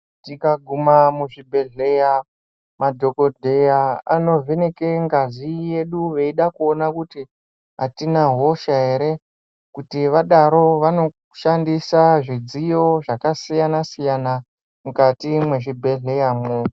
Tikaguma muzvibhehleya madhokodheya anovheneka ngazi yedu veida kuona kuti atina hosha ere. Kuti vadaro vanoshandisa zvidziyo zvakasiyana-siyana mukati mwezvibhehleya mwo.